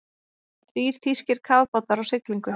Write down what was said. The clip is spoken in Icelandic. Þrír þýskir kafbátar á siglingu.